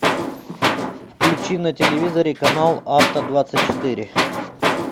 включи на телевизоре канал авто двадцать четыре